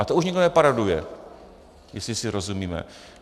A to už nikdo neparoduje, jestli si rozumíme.